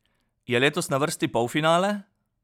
Je letos na vrsti polfinale?